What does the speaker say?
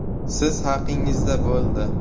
“Siz haqingizda bo‘ldi.